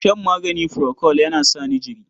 Shan magani furokol yana sa ni jiri.